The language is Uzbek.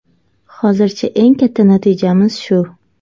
Hozircha eng katta natijamiz shu.